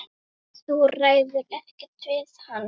Þú ræður ekkert við hann.